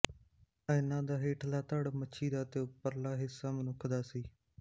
ਇਹਨਾਂ ਦਾ ਹੇਠਲਾ ਧੜ ਮਛੀ ਦਾ ਤੇ ਉਪ੍ਰਲਾ ਹਿੱਸਾ ਮਨੁਖ ਦਾ ਸੀ